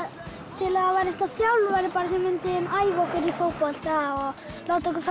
til að það væri þjálfari sem mundi æfa okkur í fótbolta og láta okkur fara